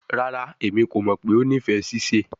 Rara, Emi ko mọ pe o nifẹ sise